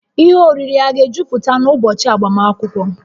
Ihe oriri a ga-ejuputa n'ụbọchị agbamakwụkwọ?